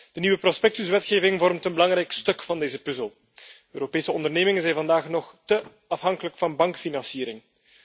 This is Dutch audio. De nieuwe prospectuswetgeving vormt een belangrijk stuk van deze puzzel. Europese ondernemingen zijn vandaag nog al te zeer afhankelijk van bankfinanciering.